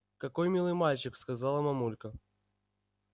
какой милый мальчик сказала мамулька